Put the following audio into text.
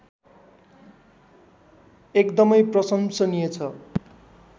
एकदमै प्रशंसनीय छ